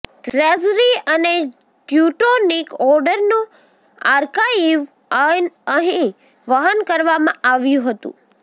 treasury અને Teutonic ઓર્ડરનું archive અહીં વહન કરવામાં આવ્યું હતું